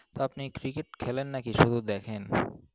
আপনি Cricket খেলেন নাকি? শুধু দেখেন?